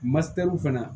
Matɛriw fana